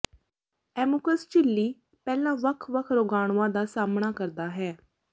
ਐਮੂਕਸ ਝਿੱਲੀ ਪਹਿਲਾਂ ਵੱਖ ਵੱਖ ਰੋਗਾਣੂਆਂ ਦਾ ਸਾਹਮਣਾ ਕਰਦਾ ਹੈ